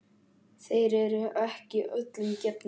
Þeir eru ekki öllum gefnir.